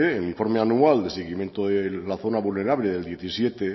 en el informe anual de seguimiento de la zona vulnerable del diecisiete